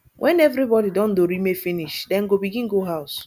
wen evribody don dorime finish dem go begin go house